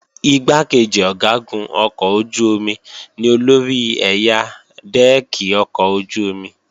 Igbákejì Ọ̀gágun ọkọ̀ ojú-omi ni olórí ẹ̀yà dẹ́ẹ̀kì ọkọ̀ ojú-omi